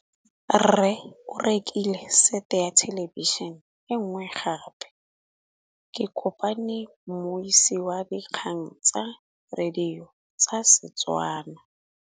Rre o rekile sete ya thêlêbišênê e nngwe gape. Ke kopane mmuisi w dikgang tsa radio tsa Setswana.